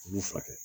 U b'u furakɛ